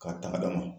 K'a ta dama